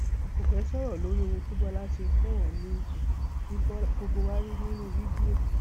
n kò fẹẹ sọrọ lórí ohun tí bọlá ṣe fún oòní ìfẹ tí gbogbo wa rí nínú fídíò